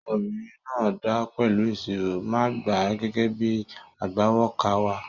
Ọmọbìnrin náà dáa pẹ̀lú ìṣirò, màá gbà á gẹ́gẹ́ bíi agbawókà wa.